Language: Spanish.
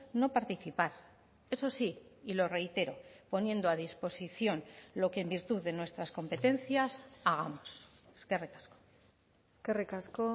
no participar eso sí y lo reitero poniendo a disposición lo que en virtud de nuestras competencias hagamos eskerrik asko eskerrik asko